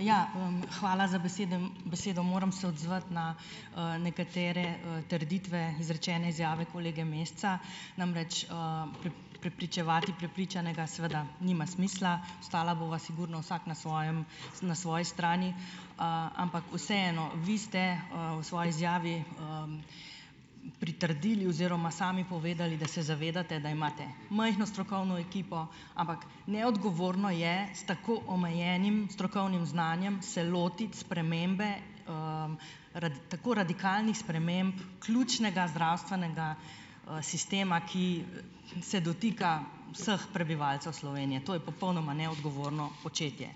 Ja, hvala za besedo. Moram se odzvati na, nekatere, trditve, izrečene izjave kolege Meseca, namreč, prepričevati prepričanega seveda nima smisla, ostala bova sigurno vsak na svojem na svoji strani. Ampak vseeno, vi ste, v svoji izjavi pritrdili oziroma sami povedali, da se zavedate, da imate majhno strokovno ekipo, ampak neodgovorno je s tako omejenim strokovnim znanjem se lotiti spremembe, tako radikalnih sprememb ključnega zdravstvenega, sistema, ki se dotika vseh prebivalcev Slovenije. To je popolnoma neodgovorno početje.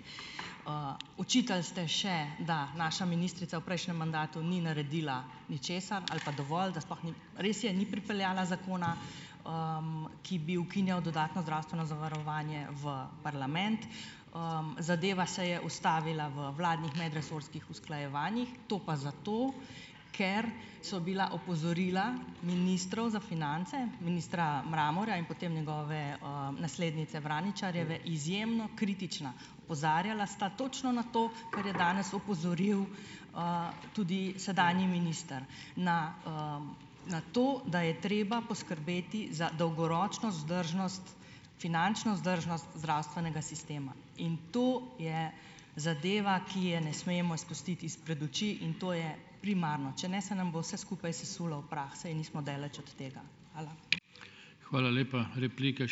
Očitali ste še, da naša ministrica v prejšnjem mandatu ni naredila ničesar ali pa dovolj, da sploh ni ... Res je, ni pripeljala zakona, ki bi ukinjal dodatno zdravstveno zavarovanje, v parlament. Zadeva se je ustavila v vladnih medresorskih usklajevanjih, to pa zato, ker so bila opozorila ministrov za finance, ministra Mramorja in potem njegove, naslednice Vraničarjeve, izjemno kritična. Opozarjala sta točno na to, kar je danes opozoril, tudi sedanji minister, na, na to, da je treba poskrbeti za dolgoročno vzdržnost, finančno vzdržnost zdravstvenega sistema. In to je zadeva, ki je ne smemo izpustiti izpred oči, in to je primarno. Če ne, se nam bo vse skupaj sesulo v prah, saj nismo daleč od tega. Hvala.